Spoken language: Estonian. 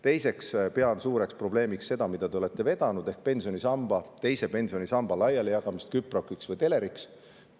Teiseks pean suureks probleemiks seda, mida te olete vedanud, ehk teise pensionisamba laialijagamist küproki või teleri ostuks.